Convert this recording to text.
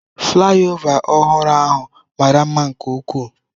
Flaịova ọhụrụ ahụ mara mma nke ukwuu.